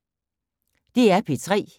DR P3